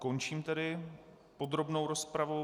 Končím tedy podrobnou rozpravu.